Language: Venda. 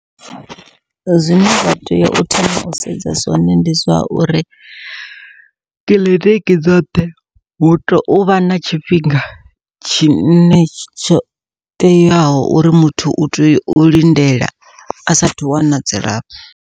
Zwine zwa tea u thoma u sedza zwone ndi zwa uri kiḽiniki dzoṱhe, hu tea uvha na tshifhinga tshine tsho teaho uri muthu u tea u lindela a sathu wana dzilafho.